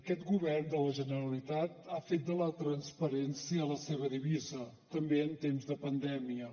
aquest govern de la generalitat ha fet de la transparència la seva divisa també en temps de pandèmia